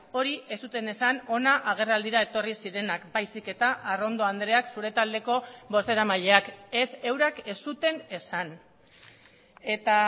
hori ez zuten esan hona agerraldira etorri zirenak baizik eta arrondo andreak zure taldeko bozeramaileak ez eurak ez zuten esan eta